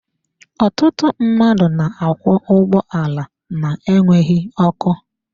Ọtụtụ mmadụ na-akwọ ụgbọala na-enweghị ọkụ.